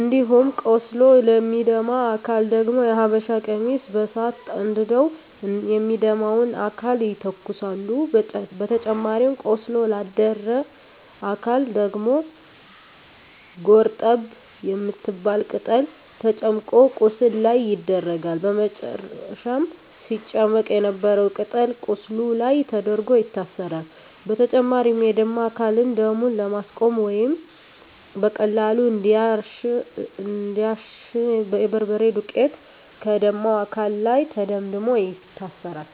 እንዲሁም ቆስሎ ለሚደማ አካል ደግሞ የሀበሻ ቀሚስ በሳት አንድደው የሚደማውን አካል ይተኩሳሉ በተጨማሪም ቆስሎ ላደረ አካል ደግሞ ጎርጠብ የምትባል ቅጠል ተጨምቆ ቁስሉ ላይ ይደረጋል በመጨረም ሲጨመቅ የነበረው ቅጠል ቁስሉ ላይ ተደርጎ ይታሰራል። በተጨማሪም የደማ አካልን ደሙን ለማስቆመረ ወይም በቀላሉ እንዲያሽ የበርበሬ ዱቄት ከደማው አካል ላይ ተደምድሞ ይታሰራል።